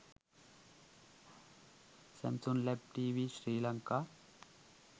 samsung led tv sri lanka